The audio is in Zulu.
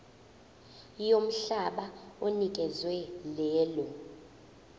yomhlaba onikezwe lelo